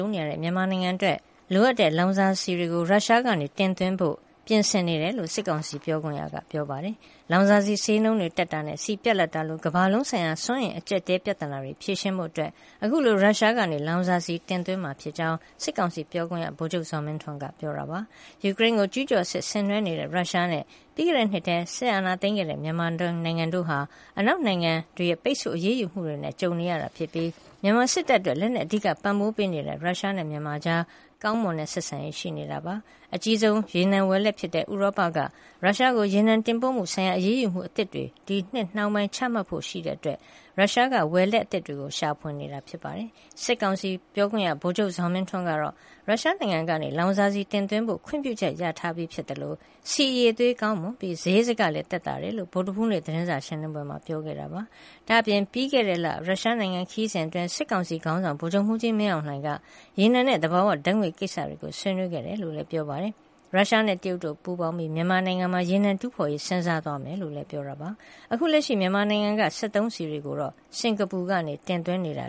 ုံနေရတဲ့ မြန်မာနိုင်ငံအတွက် လိုအပ်တဲ့လောင်စာဆီတွေကို ရုရှားက တင်သွင်းဖို့ ပြင်ဆင်နေတယ်လို့ စစ်ကောင်စီပြောခွင့်ရက ပြောပါတယ်။ လောင်စာဆီဈေးနှုန်းတွေတက်တာနဲ့ ဆီပြတ်လပ်တာလို ကမ္ဘာလုံးဆိုင်ရာ စွမ်းအင်အကျပ်အတည်း ပြဿနာတွေကို ဖြေရှင်းဖို့ အခုလို ရုရှားကနေ လောင်စာဆီတင်သွင်းမှာဖြစ်တယ်လို့ စစ်ကောင်စီပြောခွင့်ရ ဗိုလ်ချုပ်ဇော်မင်းထွန်းက ပြောပါတယ်။ ယူကရိန်းကိုကျုးကျော်စစ်ဆင်နွှဲနေတဲ့ ရုရှားနဲ့ ပြီးခဲ့တဲ့နှစ်ထဲ စစ်အာဏာသိမ်းခဲ့တဲ့ မြန်မာနိုင်ငံတို့ဟာ အနောက်နိုင်ငံတွေရဲ့ ပိတ်ဆို့အရေးယူမှုတွေနဲ့ ကြုံနေရပြီး မြန်မာစစ်တပ်အတွက် လက်နက်အဓိက ပံ့ပိုးပေးနေတဲ့ ရုရှားနဲ့ မြန်မာကြား ကောင်းမွန်တဲ့ ဆက်ဆံရေးရှိနေတာပါ။ အကြီးဆုံးရေနံဝယ်လက်ဖြစ်တဲ့ ဥရောပက ရုရှားကို ရေနံတင်ပို့မှုဆိုင်ရာ အရေးယူမှုအသစ်တွေ ဒီနှစ်နှောင်းပိုင်းချမှတ်ဖို့ရှိတာကြောင့်လည်း ရုရှားက ဝယ်လက်အသစ်တွေကို ရှာဖွေနေပါတယ်။ စစ်ကောင်စီပြောခွင့်ရ ဗိုလ်ချုပ်ဇော်မင်းထွန်းကတော့ ရုရှားနိုင်ငံကနေ လောင်စာဆီတင်သွင်းဖို့ ခွင့်ပြုချက်ရထားပြီး ဖြစ်သလို ဆီအရည်အသွေးကောင်းမွန်ပြီး စရိတ်စကလည်း သက်သာတယ်လို့ ဗုဒ္ဓဟူးနေ့ သတင်းစာရှင်းလင်းပွဲမှာ ပြောကြားခဲ့ပါတယ်။ ဒါ့အပြင် ပြီးခဲ့တဲ့လ ရုရှားနိုင်ငံခရီးစဉ်အတွင်း စစ်ကောင်စီ ခေါင်းဆောင် ဗိုလ်ချုပ်မှူးကြီး မင်းအောင်လှိုင်က ရေနံနဲ့ သဘာဝဓာတ်ငွေ့ ကိစ္စတွေကို ဆွေးနွေးခဲ့တယ်လို့လည်း ပြောပါတယ်။ ရုရှားနဲ့ တရုတ်တို့ ပူးပေါင်းပြီး မြန်မာနိုင်ငံမှာ ရေနံတူးဖော်ရေး စဉ်းစားသွားမယ်လို့လည်း ပြောပါတယ်။ အခုလက်ရှိ မြန်မာနိုင်ငံက စက်သုံးဆီတွေကို စင်ကာပူကနေတဆင့် တင်သွင်းနေတာ